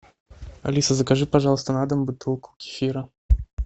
алиса закажи пожалуйста на дом бутылку кефира